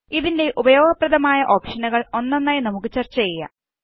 ഇതിന്റെ ഉപയോഗപ്രദമായ ഓപ്ഷനുകൾഒന്നൊന്നായി നമുക്ക് ചര്ച്ച ചെയ്യാം